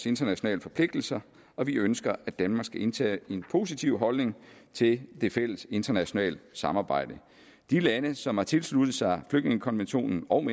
internationale forpligtelser og vi ønsker at danmark skal indtage en positiv holdning til det fælles internationale samarbejde de lande som har tilsluttet sig flygtningekonventionen og